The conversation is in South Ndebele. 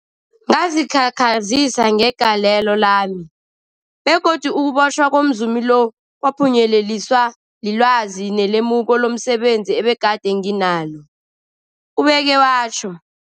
Ngazikhakhazisa ngegalelo lami, begodu ukubotjhwa komzumi lo kwaphunyeleliswa lilwazi nelemuko lomse benzi ebegade nginalo, ubeke watjho.